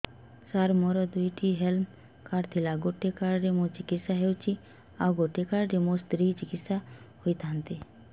ସାର ମୋର ଦୁଇଟି health card ଥିଲା ଗୋଟେ କାର୍ଡ ରେ ମୁଁ ଚିକିତ୍ସା ହେଉଛି ଆଉ ଗୋଟେ କାର୍ଡ ରେ ମୋ ସ୍ତ୍ରୀ ଚିକିତ୍ସା ହୋଇଥାନ୍ତେ